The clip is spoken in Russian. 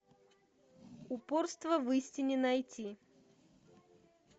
упорство в истине найти